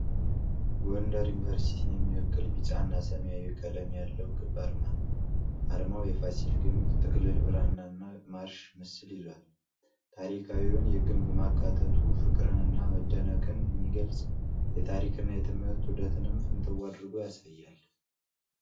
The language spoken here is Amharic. ጎንደር ዩኒቨርሲቲን የሚወክል ቢጫና ሰማያዊ ቀለም ያለው ክብ አርማ ነው። አርማው የፋሲል ግንብ፣ ጥቅልል ብራናና ማርሽ ምስል ይዟል። ታሪካዊውን ግንብ ማካተቱ ፍቅርን እና መደነቅን የሚገልፅ፤ የታሪክና የትምህርት ውህደትንም ፍንትው አድርጎ ያሳያል።